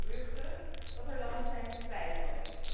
Er gaan geruchten dat er landen zijn die twijfelen.